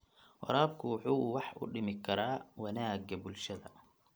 Waraabku wuxuu wax u dhimi karaa wanaagga bulshada.